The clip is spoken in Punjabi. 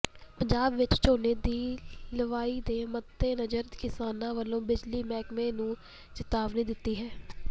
ਪੰਜਾਬ ਵਿੱਚ ਝੋਨੇ ਦੀ ਲਵਾਈ ਦੇ ਮੱਦੇਨਜ਼ਰ ਕਿਸਾਨਾਂ ਵੱਲੋਂ ਬਿਜਲੀ ਮਹਿਕਮੇ ਨੂੰ ਚਿਤਾਵਨੀ ਦਿੱਤੀ ਹੈ